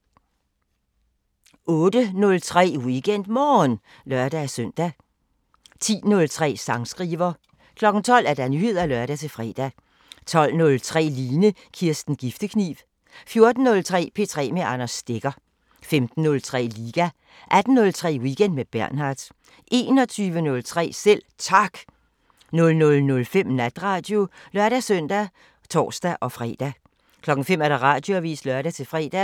08:03: WeekendMorgen (lør-søn) 10:03: Sangskriver 12:00: Nyheder (lør-fre) 12:03: Line Kirsten Giftekniv 14:03: P3 med Anders Stegger 15:03: Liga 18:03: Weekend med Bernhard 21:03: Selv Tak 00:05: Natradio (lør-søn og tor-fre) 05:00: Radioavisen (lør-fre)